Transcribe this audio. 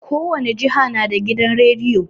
Kowane jiha na da gidan rediyo